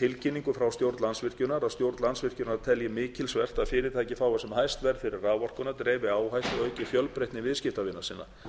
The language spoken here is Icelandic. tilkynningu frá stjórn landsvirkjunar að stjórn landsvirkjunar telji mikilsvert að fyrirtæki fái sem hæst verð fyrir raforkuna dreifi áhættu auki fjölbreytni viðskiptavina sinna